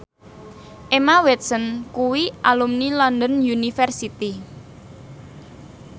Emma Watson kuwi alumni London University